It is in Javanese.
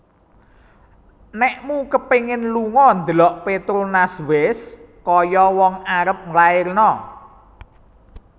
Nekmu kepingin lungo ndelok Petronas wes koyok wong arep nglairno